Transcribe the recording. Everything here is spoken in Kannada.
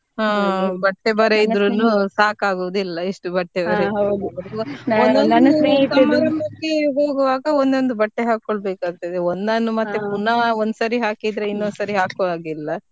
ಹಾ ಬಟ್ಟೆ ಬರೆ ಇದ್ರುನು ಸಾಕಗುದಿಲ್ಲ ಎಷ್ಟು ಬಟ್ಟೆ ಬರೇ ಇದ್ರುನು ಹೋಗುವಾಗ ಒದೊಂದ್ ಬಟ್ಟೆ ಹಾಕ್ಬೇಕ್ ಆಗ್ತದೆ ಒಂದನ್ನ ಮತ್ತೆ ಪುನಃ ಒಂದ ಸರಿ ಹಾಕಿದ್ರೆ ಇನ್ನೊಂದ್ ಸರಿ ಹಾಕುವ ಹಾಗಿಲ್ಲ.